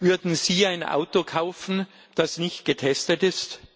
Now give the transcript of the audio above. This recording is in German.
Würden Sie ein Auto kaufen, das nicht getestet ist?